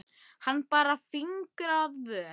Hann bar fingur að vör.